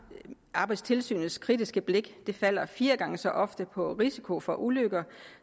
arbejdstilsynets kritiske blik falder fire gange så ofte på risiko for ulykker